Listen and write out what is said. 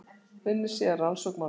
Unnið sé að rannsókn málsins.